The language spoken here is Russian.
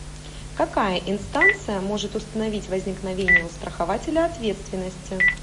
какая инстанция может установить возникновение у страхователя ответственности